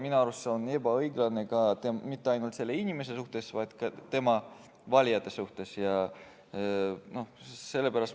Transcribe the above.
Minu arust ei ole see ebaõiglane mitte ainult selle inimese suhtes, vaid ka tema valijate suhtes.